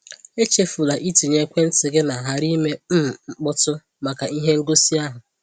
Echefula itinye ekwentị gị na ‘ghara ime um mkpọtụ’ maka ihe ngosi ahụ.